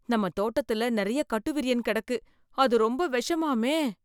நம்ம தோட்டத்தில நிறைய கட்டுவிரியன் கிடக்கு, அது ரொம்ப விஷமாமே?